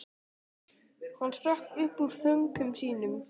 Hann hrökk upp úr þönkum sínum.